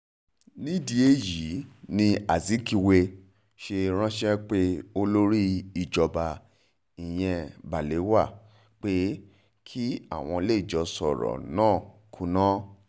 nídìí èyí ni azikiwe ṣe ránṣẹ́ pé olórí ìjọba ìyẹn balewa pé kí àwọn lè jọ sọ̀rọ̀ náà kúnná